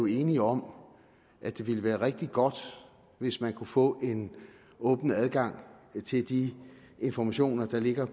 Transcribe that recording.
enige om at det ville være rigtig godt hvis man kunne få åbnet adgangen til de informationer der ligger